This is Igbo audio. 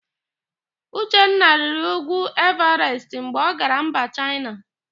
Uchenna rịrị úgwú Ịvarest mgbe ọ gara mba Chaịna.